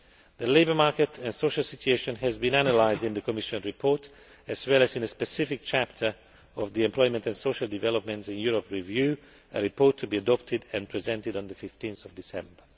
The labour market and social situation has been analysed in the Commission report as well as in a specific chapter of the Employment and Social Developments in Europe review, a report to be adopted and presented on 15 December.